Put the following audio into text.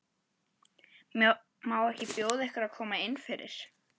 Má ekki bjóða ykkur að koma innfyrir?